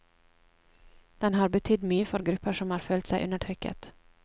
Den har betydd mye for grupper som har følt seg undertrykket.